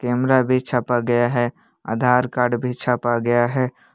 Camera भी छापा गया है आधार कार्ड भी छापा गया है।